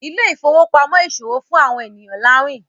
Ile-ifowopamọ ìṣòwò fún awọn ènìyàn lawin.